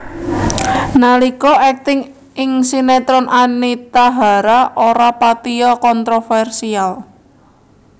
Nalika akting ing sinetron Anita Hara ora patiya kontroversial